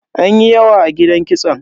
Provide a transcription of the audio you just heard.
Anyi yawa a gidan kitson.